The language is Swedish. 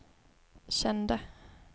kände